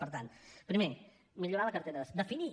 per tant primer millorar la cartera de serveis definir